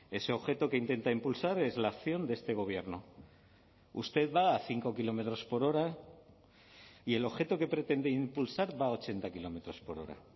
ese objeto que intenta impulsar es la acción de este gobierno usted va a cinco kilómetros por hora y el objeto que pretende impulsar va a ochenta kilómetros por hora